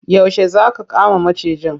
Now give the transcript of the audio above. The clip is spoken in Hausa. Yaushe za aka kama macijin?